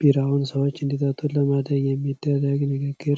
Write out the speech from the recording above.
ቢራውን ሰዎች እንዲጠጡት ለማድረግ የሚደረግ ንግግር ነው።